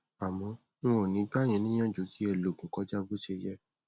àmọ n ò ní gbà yí níyànjú kí ẹ lòògùn kọjá bó ṣe yẹ